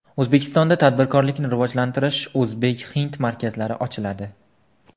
O‘zbekistonda tadbirkorlikni rivojlantirish o‘zbek-hind markazlari ochiladi.